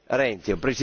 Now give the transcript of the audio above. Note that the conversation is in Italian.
Renzi.